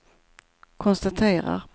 konstaterar